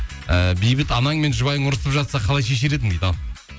і бейбіт анаң мен жұбайың ұрысып жатса қалай шешер едің дейді ал